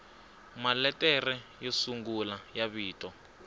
maletere yo sungula ya vito